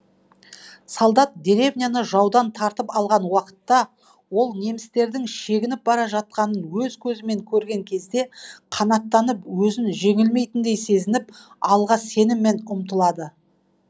солдат деревняны жаудан тартып алған уақытта ол немістердің шегініп бара жатқанын өз көзімен көрген кезде қанаттанып өзін жеңілмейтіндей сезініп алға сеніммен ұмтылады